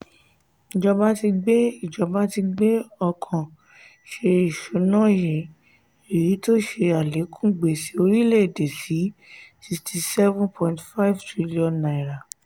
ìjọba ti gbé ìjọba ti gbé ọkàn ṣe ìṣúná yìí èyí tó ṣe alekun gbèsè orílè-èdè sí ₦ sixty seven point five trillion.